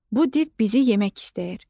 Bu div bizi yemək istəyir.